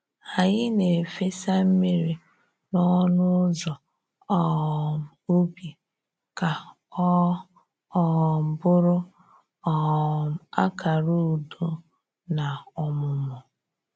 Anyị na-efesa mmiri n’ọnụ ụzọ um ubi ka ọ um bụrụ um akara udo na ọmụmụ